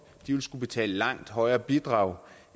de vil skulle betale et langt højere bidrag